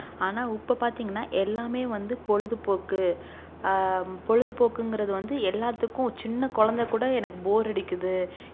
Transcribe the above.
ஆனா உப்ப பாத்தீங்கனா எல்லாமே வந்து பொழுதுபோக்கு அஹ் பொழுதுபோக்குங்குறது வந்து எல்லாத்துக்கும் சின்ன கொழந்தை கூட எனக்கு bore அடிக்குது